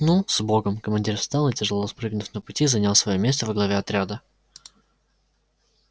ну с богом командир встал и тяжело спрыгнув на пути занял своё место во главе отряда